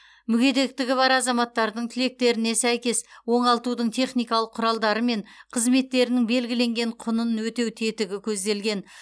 мүгедектігі бар азаматтардың тілектеріне сәйкес оңалтудың техникалық құралдары мен қызметтерінің белгіленген құнын өтеу тетігі көзделген